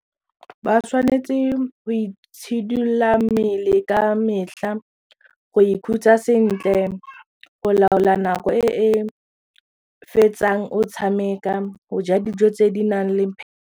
Ba tshwanetse go itshidolola mmele ka metlha go ikhutsa sentle go laola nako e e fetsang o tshameka go ja dijo tse di nang le.